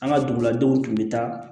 An ka duguladenw tun bɛ taa